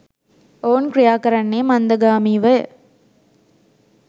ඔවුන් ක්‍රියාකරන්නේ මන්දගාමීවය.